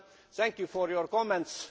well. Thank you for your comments.